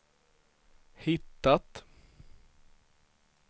hittat